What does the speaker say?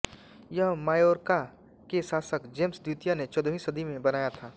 यह मायोर्का के शासक जेम्स द्वितीय ने चौदहवी सदी में बनाया था